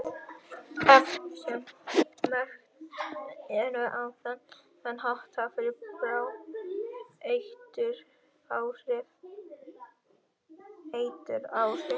efni sem merkt eru á þennan hátt hafa bráð eituráhrif